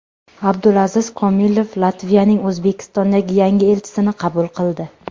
Abdulaziz Komilov Latviyaning O‘zbekistondagi yangi elchisini qabul qildi.